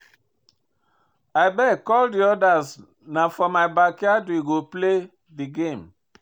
Abeg call the others na for my backyard we go play the game